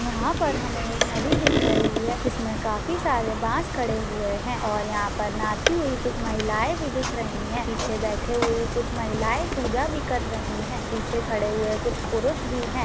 यहाँ पर हमे एक नदी दिख रही है जिसमे काफी सारे बाँस खड़े हुए हैं और यहाँ पर नहाती हुई कुछ महिलाएं भी दिख रही हैं। पीछे बैठे हुए कुछ महिलायें पूजा भी कर रही है। पीछे खड़े हुए कुछ पुरुष भी हैं ।